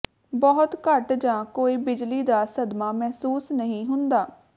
ਬਹੁਤ ਘੱਟ ਜਾਂ ਕੋਈ ਬਿਜਲੀ ਦਾ ਸਦਮਾ ਮਹਿਸੂਸ ਨਹੀਂ ਹੁੰਦਾ